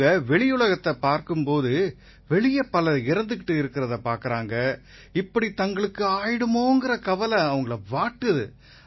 அவங்க வெளியுலகத்தைப் பார்க்கும் போது வெளிய பலர் இறந்துகிட்டு இருக்கறதை பார்க்கறாங்க இப்படி தங்களுக்கும் ஆயிருமோங்கற கவலை அவங்களை வாட்டுது